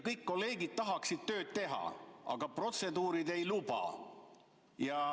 Kõik kolleegid tahaksid tööd teha, aga protseduurid ei luba.